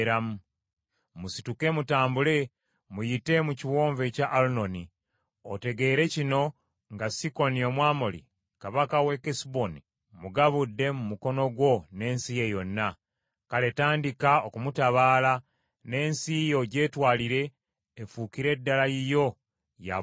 “Musituke mutambule muyite mu kiwonvu ekya Alunoni. Otegeere kino nga Sikoni Omwamoli Kabaka w’e Kesuboni mmugabudde mu mukono gwo n’ensi ye yonna. Kale tandika okumutabaala, n’ensi ye ogyetwalire efuukire ddala yiyo ya butaka bwo.